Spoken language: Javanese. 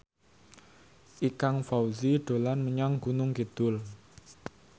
Ikang Fawzi dolan menyang Gunung Kidul